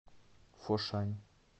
фошань